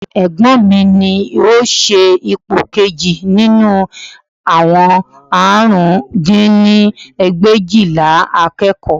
Egbọ́n mi ni ó ṣe ipò kejì nínú àwọn àrùn dín ní ẹgbẹ̀éjìlá akẹ́kọ̀ọ́